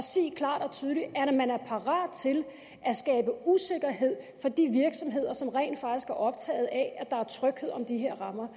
tydeligt at man er parat til at skabe usikkerhed for de virksomheder som rent faktisk er optaget af at der er tryghed om de her rammer